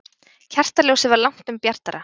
Kertaljósið var langtum bjartara.